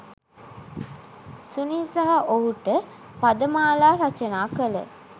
සුනිල් සහ ඔහුට පදමාලා රචනා කළ